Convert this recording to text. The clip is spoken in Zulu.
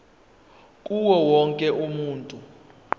kuwo wonke umuntu